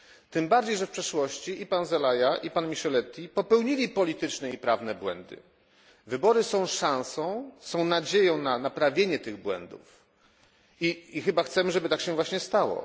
Tym bardziej, że w przeszłości zarówno pan Zelaya, jak i pan Micheletti popełnili polityczne i prawne błędy. Wybory są szansą i nadzieją na naprawienie tych błędów. Chyba chcemy, żeby tak się właśnie stało.